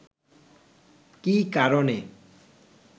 কী কারণে